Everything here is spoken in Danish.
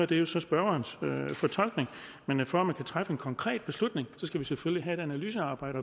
det jo så spørgerens fortolkning men for at man kan træffe en konkret beslutning skal vi selvfølgelig have et analysearbejde